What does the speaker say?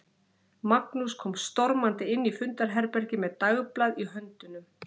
Magnús kom stormandi inn í fundarherbergið með dagblað í höndunum.